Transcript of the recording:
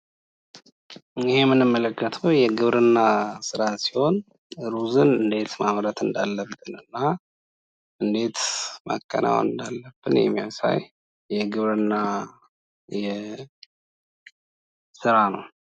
ይህ የምንመለከተው የግብርና ስራ ሲሆን ሩዝ እንዴት ማምረት እንዳለብን እና እንዴት ማከናወን እንዳለብን የሚያሳይ የግብርና ስራ ነው።